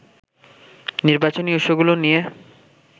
নির্বাচনী ইস্যুগুলো নিয়ে